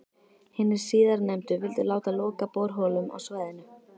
Hinir síðarnefndu vildu láta loka borholum á svæðinu.